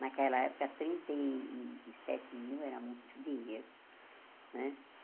Naquela época, trinta e sete mil era muito dinheiro né.